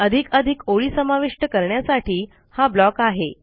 अधिकाधिक ओळी समाविष्ट करण्यासाठी हा ब्लॉक आहे